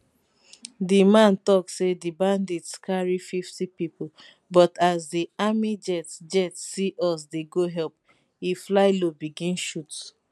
di man tok say di bandits carry 50 pipo but as di army jet jet see us dey go help e fly low begin shoot